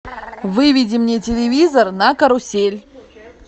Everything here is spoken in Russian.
выведи мне телевизор на карусель